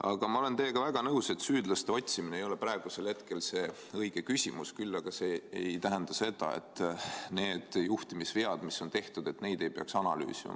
Aga ma olen teiega väga nõus, et süüdlaste otsimine ei ole praegusel hetkel see õige küsimus, küll aga see ei tähenda seda, et neid juhtimisvigu, mis on tehtud, ei peaks analüüsima.